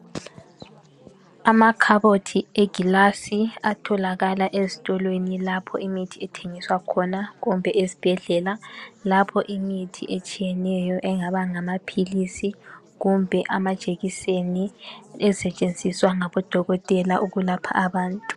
Amakhabothi egilasi atholakala estolweni lapho imithi ethengiswayo khona kumbe ezibhedlela lapho imithi etshiyeneyo engaba ngamaphilisi kumbe amajekiseni ezisetshenziswa ngabodokotela ukulapha abantu.